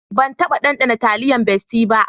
Ban taba ɗanɗana taliyan bestie ba.